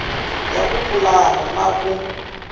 ya ku pulana na ku